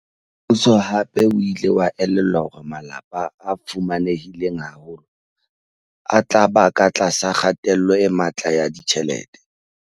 Mmuso hape o ile wa elellwa hore malapa a fuma nehileng haholo a tla ba ka tlasa kgatello e matla ya ditjhelete.